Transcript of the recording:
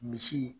Misi